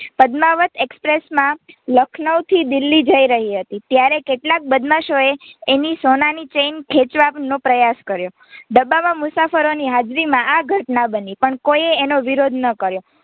પદમાવત એક્સપ્રેસમાં લખનૌથી દિલ્હી જઈ રહી હતી ત્યારે કેટલાક બદમાશોએ એની સોના ની ચેઇન ખેંચવાનો પ્રયાસ કર્યો ડબ્બા માં મુસાફરોની હાજરીમાં આ ઘટના બની પણ કોઈએ એનો વિરોધ ના કર્યો.